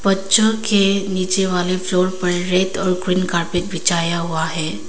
बच्चों के नीचे वाले फ्लोर पर रेड और ग्रीन कारपेट बिछाया हुआ है।